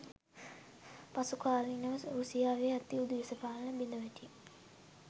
පසුකාලීනව රුසියාවේ ඇතිවූ දේශපාලන බිඳවැටීම්